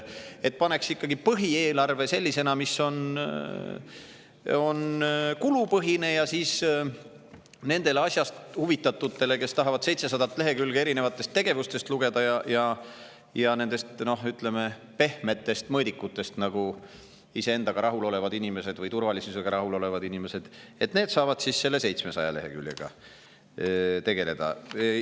Teeks ikkagi põhieelarve sellisena, mis on kulupõhine, ja nendele asjast huvitatutele, kes tahavad 700 lehekülge erinevate tegevuste ja pehmete mõõdikute kohta lugeda – sellised iseendaga rahul olevad inimesed või turvalisusega rahul olevad inimesed – saavad selle 700 leheküljega tegeleda.